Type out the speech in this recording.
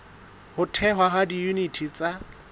ho thehwa ha diyuniti tsa